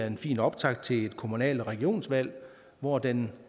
en fin optakt til et kommunalvalg og regionsvalg hvor den